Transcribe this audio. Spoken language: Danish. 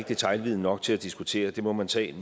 detailviden nok til at diskutere det må man tage